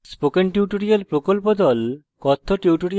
spoken tutorial প্রকল্প the